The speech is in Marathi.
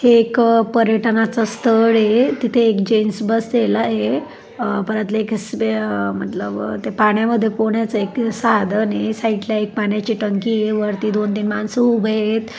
हे एक पर्यटनाच स्थळ हे तिथे एक जेन्टस बसलेला आहे अह मतलब ते पाण्यामध्ये पोहण्याच एक साधन हे साईडला एक पाण्याची टंकी हे वरती दोन तीन माणस उभी हेत.